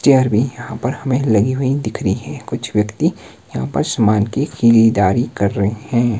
Chair भी यहां पर हमे लगी हुई दिख रही है कुछ व्यक्ति यहां पर समान की खीरीदारी कर रहे हैं।